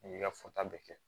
N'i y'i ka fota bɛ kɛ